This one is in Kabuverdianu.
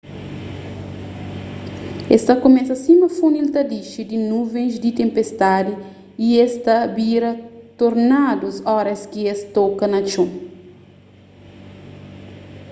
es ta kumesa sima funil ta dixi di nuvens di tenpestadi y es ta bira tornadus óras ki es toka na txon